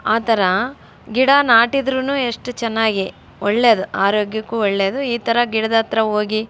ಆಹ್ಹ್ ತರ ಗಿಡ ನಾಟಿ ಇದ್ರೂನು ಎಸ್ಟ್ ಚೆನ್ನಾಗಿ ಒಳ್ಳೆಯದು ಆರೋಗ್ಯಕ್ಕೂ ಒಳ್ಳೆಯದು ಈ ತರ ಗಿಡದ ಹತ್ರ ಹೋಗಿ --